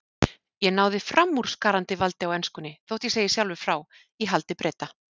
Ég náði framúrskarandi valdi á enskunni- þótt ég segi sjálfur frá- í haldi Breta.